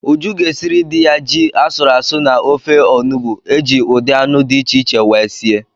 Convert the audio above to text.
Uju ga-esiri di ya ji asụrụ asụ na ofe onubu eji ụdị anụ di iche iche wee sie